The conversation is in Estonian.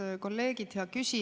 Head kolleegid!